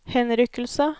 henrykkelse